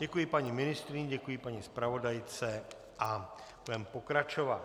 Děkuji paní ministryni, děkuji paní zpravodajce a budeme pokračovat.